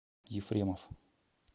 ефремов